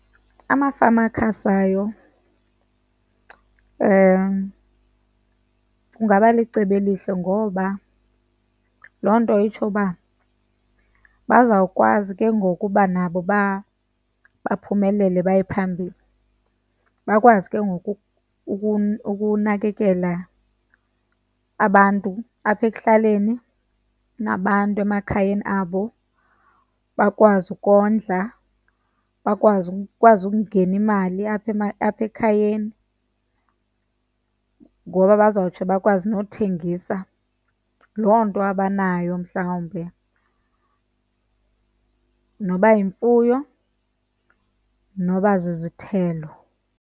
Amafama akhasayo, kungaba licebo elihle ngoba loo nto itsho uba bazawukwazi ke ngoku uba nabo baphumelele baye phambili, bakwazi ke ngoku ukunakekela abantu apha ekuhlaleni nabantu emakhayeni abo. Bakwazi ukondla, ikwazi ukungena imali apha , apha ekhayeni. Ngoba bazawutsho bakwazi nothengisa loo nto abanayo mhlawumbi, noba yimfuyo noba zizithelo.